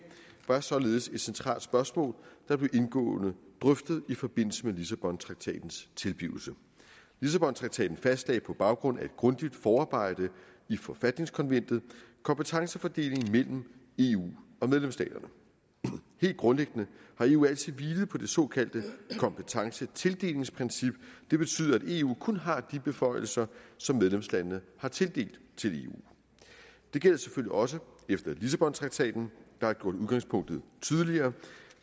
var således et centralt spørgsmål der blev indgående drøftet i forbindelse med lissabontraktatens tilblivelse lissabontraktaten fastlagde på baggrund af et grundigt forarbejde i forfatningskonventet kompetencefordelingen mellem eu og medlemsstaterne helt grundlæggende har eu altid hvilet på det såkaldte kompetencetildelingsprincip det betyder at eu kun har de beføjelser som medlemslandene har tildelt eu det gælder selvfølgelig også efter lissabontraktaten der har gjort udgangspunktet tydeligere